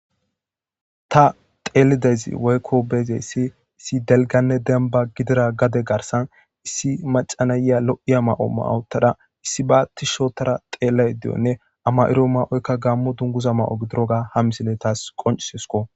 Ta teelidezi woykko beezeyssi issi delganne demba gidira gade garsan issi macanaya lo'iya ma'o ma'otada issi ba tishotara xeelley diyonne ama'iro ma'oykka gammo dunguza ma:o gidiroga ha misile taas qoncisesko